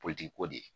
ko de